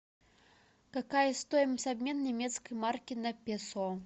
какая стоимость обмена немецкой марки на песо